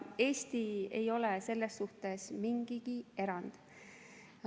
Eesti ei ole selles suhtes mingi erand.